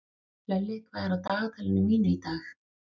Hlölli, hvað er á dagatalinu mínu í dag?